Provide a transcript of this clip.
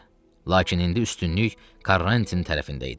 Lakin indi üstünlük Karantinin tərəfində idi.